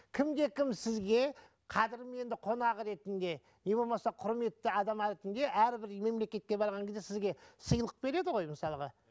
кімде кім сізге қадырменді қонағы ретінде не болмаса құрметті адам ретінде әрбір мемлекетке барған кезде сізге сыйлық береді ғой мысалға